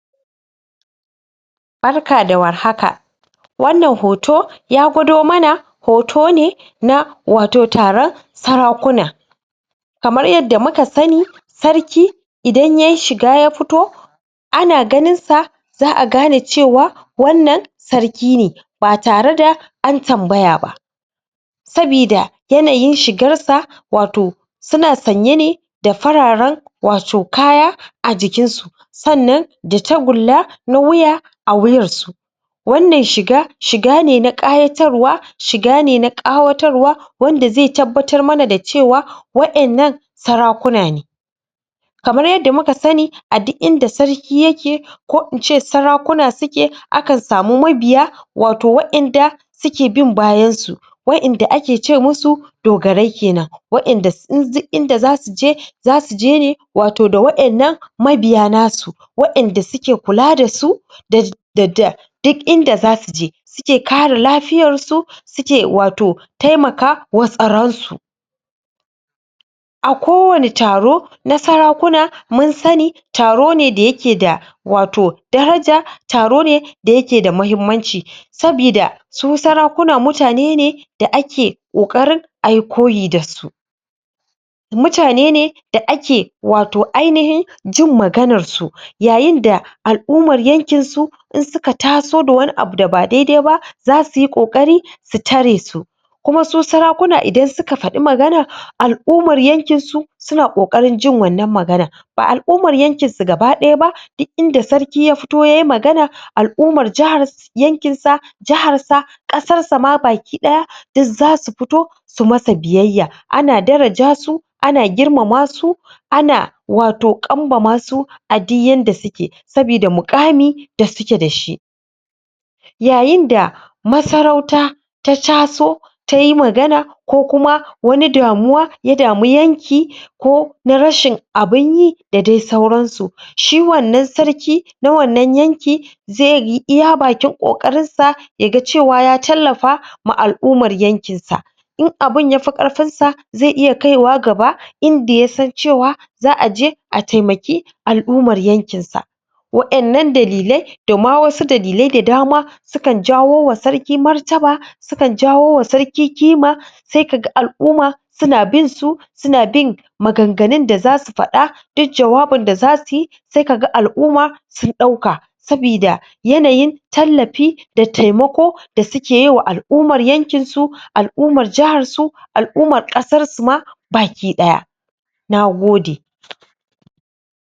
barka da war haka wannan hoto ya gwado mana hoto ne na wato na taran sarakuna kamar yanda muka sani sarki idan yayi shiga ya fito ana ganinsa za a gane cewa wannan sarki ne ba tare da an tambaya ba sabida yanayin shigarsa wato suna sanye ne da fararan wato kaya a jikinsu sannan da takulla na wuya a wuyarsu wannan shiga shigane na ƙayatarwa shigane na ƙawatar wa wanda zai tabbatar mana da cewa wa innan sarakuna ne kamar yanda muka sani a duk inda sarki yake ko ince sarakuna suke akan samu mabiya wato wa inda suke bin bayansu wa inda ake ce musu dogarai kenan wa inda duk inda zasujie zasu jene wato da wa innan mabiya nasu wa inda suke kula dasu da duk inda zasuji suke kare lafiyarsu suke wato taimakawa tsaransu a kowanne taro na sarakuna munsani tarone da yake da wato daraja taro ne d yake da mahimmanci sabida su sarakuna mutane ne da ake ƙoƙarin ayi koye dasu mutane ne da ake wato ainahin jin maganarsu yayin da al'ummar yankin su in suka taso da wani abu da ba daidai ba zasu yi ƙoƙari taresu kuma su sarakuna idan suka faɗi magana al'umar yankinsu suna ƙoƙarin jin wannan magana ba al'umar yankin su gaba ɗaya ba duk inda sarki ya fito yayi magana al'umar yankinsa jaharsa ƙasarsa ma baki ɗaya duk zasu fito su masa biyayya ana daraja su ana girmama su ana wato kanmamasu a diyyan da suke sabida muƙani da suke da yayin da masarauta ta taso tayi magana ko kuma wani damuwa ya dami yanki kona rashin abinyi da dai sauransu shi wannan sarki na wannan yanki zaiyi iya bakin ƙoƙarinsa yaga cewa ya tallafama al'ummar yankinsa in abun yafi karfinsa zai iya kaiwa gaba inda yasan cewa za aje a taimakon al'ummar yankinsa wa innan dalilai da ma wasu dalilai da dama sukan jawowa sarki martaba sukan jawowa sarki kima sai kaga al'uma suna binsu suna bin maganganun da zasu faɗa duk jawabin da zasuyi sai kaga al'umma sun ɗauka sabida yanayin tallafi da taimako da suke yiwa al'ummar yankinsu al'umar jaharsu al'umar ƙasarsu ma baki ɗaya nagode